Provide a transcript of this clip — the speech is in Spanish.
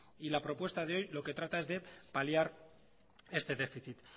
y la propuesta de hoy lo que trata es de paliar este déficit